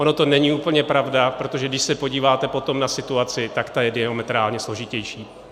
Ona to není úplně pravda, protože když se podíváte potom na situaci, tak ta je diametrálně složitější.